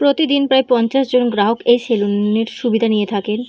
প্রতিদিন প্রায় পঞ্চাশজন গ্রাহক এই সেলুন -এর সুবিধা নিয়ে থাকেন।